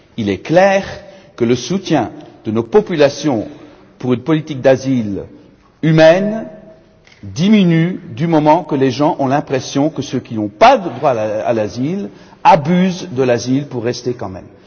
Il est clair que le soutien de nos populations en faveur d'une politique d'asile humaine diminue lorsque les gens ont l'impression que ceux qui n'ont pas droit à l'asile abusent de cet asile pour rester quand même.